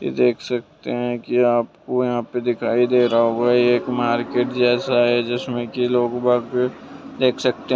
देख सकते है के आपको यहां पे दिखाई दे रहा होगा यह एक मार्केट जैसा है जिसमें कि लोग बाग देख सकते हैं।